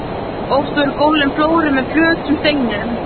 Oft voru gólfin flóruð með flötum steinum.